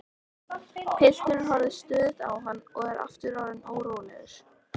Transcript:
Pilturinn horfir stöðugt á hann og er aftur orðinn órólegur.